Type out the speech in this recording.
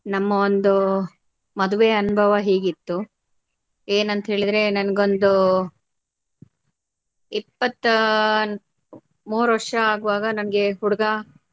ನಮ್ಮ ಒಂದು ಮದುವೆಯ ಅನುಭವ ಹೀಗಿತ್ತು ಏನ್ ಅಂತ್ ಹೇಳಿದ್ರೆ ನಂಗೊಂದು ಇಪ್ಪತ್ತಮೂರು ವರ್ಷ ಆಗುವಾಗ ನಂಗೆ ಹುಡುಗ.